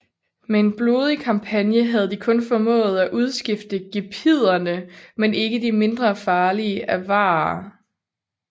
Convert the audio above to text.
Med en blodig kampagne havde de kun formået at udskifte gepiderne med de ikke mindre farlige avarere